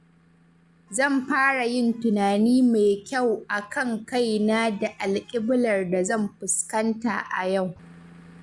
Zan fara yin tunani mai kyau a kan kaina da alƙiblar da zan fuskanta a yau.